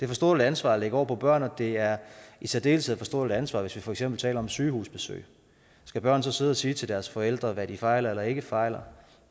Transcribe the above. for stort et ansvar at lægge over på børn og det er i særdeleshed for stort et ansvar hvis vi for eksempel taler om sygehusbesøg skal børn så sidde og sige til deres forældre hvad de fejler eller ikke fejler